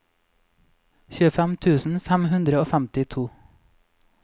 tjuefem tusen fem hundre og femtito